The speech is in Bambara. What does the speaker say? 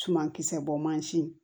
Sumankisɛ bɔ mansin